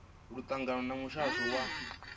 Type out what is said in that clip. ḽo ṱangana na muhasho wa